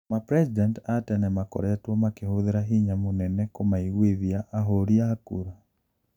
Mapresident aa tene makoritwo makihũthira hinya munene kumaiguithia ahũri aa kura.